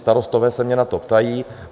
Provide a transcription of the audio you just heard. Starostové se mě na to ptají.